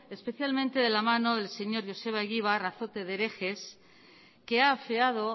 especialmente de la mano del señor joseba egibar azote de herejes que ha afeado